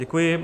Děkuji.